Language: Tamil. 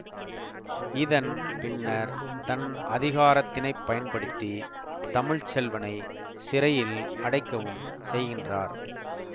இதன் பின்னர் தன் அதிகாரத்தினைப்பயன்படுத்தி தமிழ்ச்செல்வனை சிறையில் அடைக்கவும் செய்கின்றார்